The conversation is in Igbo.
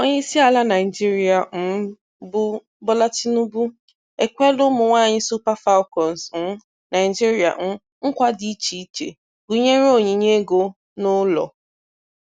Onyeisiala Naịjirịa um bụ Bola Tinubu ekweela ụmụnwaanyị Super Falcons um Naịjirịa um nkwa dị icheiche gụnyere onyinye ego na ụlọ.